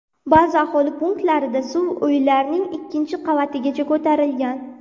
Ba’zi aholi punktlarida suv uylarning ikkinchi qavatigacha ko‘tarilgan.